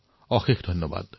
অশেষ ধন্যবাদ